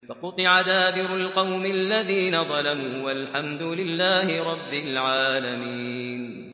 فَقُطِعَ دَابِرُ الْقَوْمِ الَّذِينَ ظَلَمُوا ۚ وَالْحَمْدُ لِلَّهِ رَبِّ الْعَالَمِينَ